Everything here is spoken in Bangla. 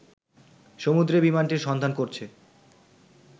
সমুদ্রে বিমানটির সন্ধান করছে